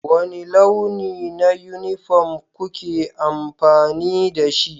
Wani launi na yunifom kuke amfani da shi?